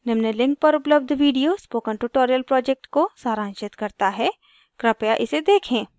निम्न link पर उपलब्ध video spoken tutorial project को सारांशित करता है कृपया इसे देखें